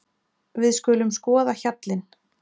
Við skulum skoða hjallinn.